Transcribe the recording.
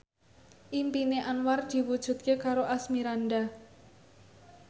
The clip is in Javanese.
impine Anwar diwujudke karo Asmirandah